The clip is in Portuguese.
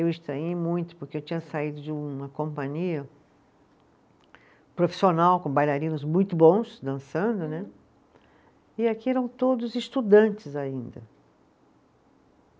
Eu estranhei muito, porque eu tinha saído de uma companhia profissional, com bailarinos muito bons, dançando né, e aqui eram todos estudantes ainda.